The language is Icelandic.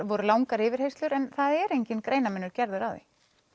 voru langar yfirheyrslur en það er enginn greinarmunur gerður á því